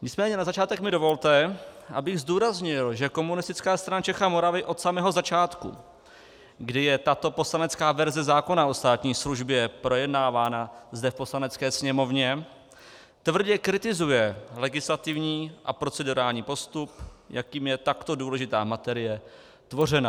Nicméně na začátek mi dovolte, abych zdůraznil, že Komunistická strana Čech a Moravy od samého začátku, kdy je tato poslanecká verze zákona o státní službě projednávána zde v Poslanecké sněmovně, tvrdě kritizuje legislativní a procedurální postup, jakým je takto důležitá materie tvořena.